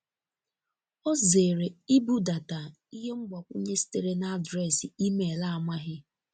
o zere ibudata ihe mgbakwunye sitere na adreesị email amaghi